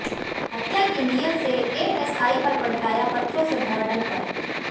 हत्या की नीयत से एएसआई पर पलटाया पत्थरों से भरा डंपर